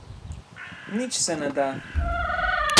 Nič se ne da.